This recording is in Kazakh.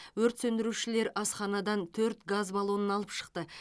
өрт сөндірушілер асханадан төрт газ баллонын алып шықты